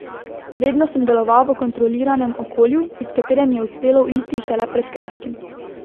Vedno sem deloval v kontroliranem okolju, iz katerega mi je uspelo uiti šele pred kratkim.